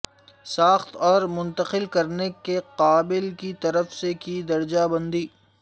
ساخت اور منتقل کرنے کے قابل کی طرف سے کی درجہ بندی